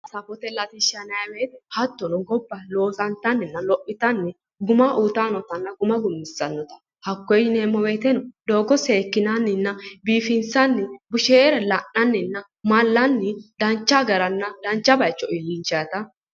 Safote latishsha yinaayii woyiite hattono gobba loosantanninna lophitanni guma uuyiitayi nootanna guma gummissannota hakkoye yineemmo wooyiiteno seekkinanninna biifinsanni busheere la'nanninna mallanni dancha garanna dancha baayiicho iillinshaata